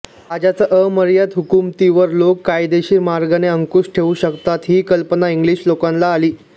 राजाच्या अमर्याद हुकुमतीवर लोक कायदेशीर मार्गाने अंकुश ठेवू शकतात ही कल्पना इंग्लिश लोकांना आली